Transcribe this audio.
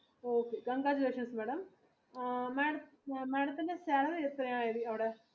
congratulation madam ma'am madam തിന്റെ salary എത്രെയായിരുന്നു?